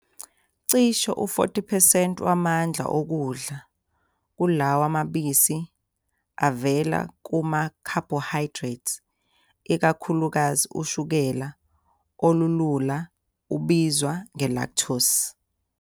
Cishe u-40 percent wamandla okudla kulawa mabisi avela kuma-carbohydrate, ikakhulukazi ushukela olulula obizwa nge- lactose.